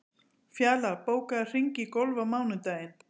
Fjalar, bókaðu hring í golf á mánudaginn.